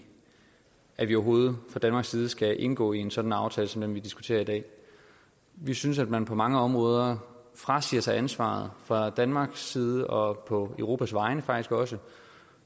at man overhovedet fra danmarks side skal indgå en sådan aftale som den man diskuterer i dag vi synes at man på mange områder frasiger sig ansvaret fra danmarks side og faktisk på europas vegne